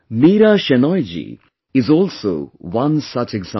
Meera Shenoy ji is also one such example